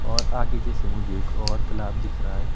और आगे जैसे मुझे एक और तालाब दिख रहा है।